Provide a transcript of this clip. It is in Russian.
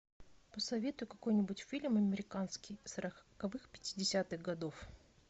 посоветуй какой нибудь фильм американский сороковых пятидесятых годов